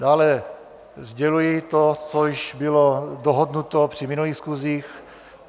Dále sděluji to, co již bylo dohodnuto při minulých schůzích.